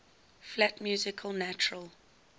flat music natural